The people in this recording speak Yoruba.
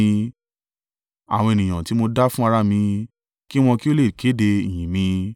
àwọn ènìyàn tí mo dá fún ara mi kí wọn kí ó lè kéde ìyìn mi.